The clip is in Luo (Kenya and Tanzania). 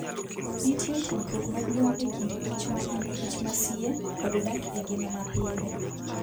Nitie tudruok maduong' e kind kich ma en kich masie kod dak e ngima mapile.